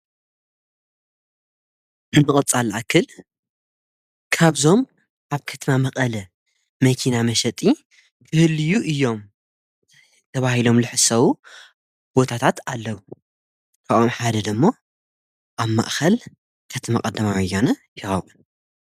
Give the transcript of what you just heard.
ከከከከብቕጻ ልኣክል ካብዞም ኣብ ከትማ መቐለ መይኪና መሰጢ ክህልዩ እዮም ተብሂሎም ልሕ ሰዉ ቦታታት ኣለዉ ተቛም ሓደደ እሞ ኣብ ማእኸል ከትማ ቐድማዊያነ ይረክዉ።